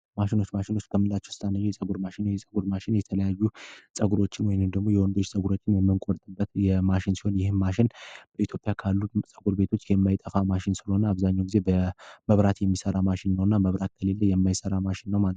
ማሽኖች ማሽኖች ከምንላቸው ውስጥ አንደኛው የፀጉር ማሽን ነው። የፀጉር ማሽን የተለያዩ ፀጉሮችን ለማስተካከል ወይም ደግሞ የወንዶችን ፀጉር የምንቆርጥበት ማሽን ሲሆን ይህም ማሽን በኢትዮጵያ ውስጥ ካሉት ፀጉር ቤቶች የማይጠፋ ሲሆን አብዛኛው ጊዜ በመብራት የሚሰራ ማሽን ነው። መብራት ከሌለ የማይሰራ ማሽን ነው።